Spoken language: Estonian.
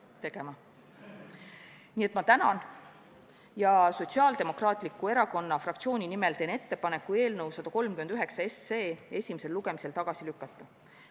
Ma tänan kuulamast ja teen Sotsiaaldemokraatliku Erakonna fraktsiooni nimel ettepaneku eelnõu 139 esimesel lugemisel tagasi lükata.